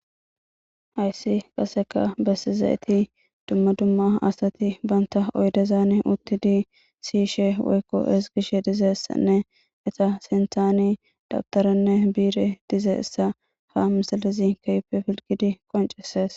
Hayssi qaseka bessi zayeti dumma dumma asati banta oydezaan uttidi siishe woykko esgishe dizessanne eta sinthani dabtaranne biire dize issa ha misalizi kaype filgidi qoncesees